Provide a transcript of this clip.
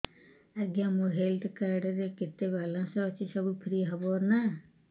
ଆଜ୍ଞା ମୋ health card ରେ କେତେ ବାଲାନ୍ସ ଅଛି ସବୁ ଫ୍ରି ହବ ନାଁ